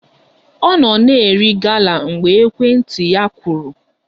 Ọ nọ na-eri gala mgbe ekwentị ya kụrụ